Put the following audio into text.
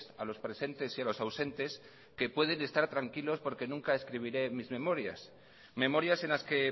a los presentes y a los ausentes que pueden estar tranquilos porque nunca escribiré mis memorias memorias en las que